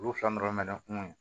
Olu fila nɔrɔ mɛ kungo kɔnɔ